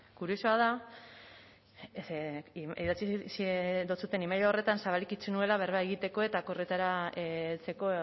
kuriosoa da ze idatzi dotsuten email horretan zabalik itxi nuela berba egiteko eta akordioetara heltzeko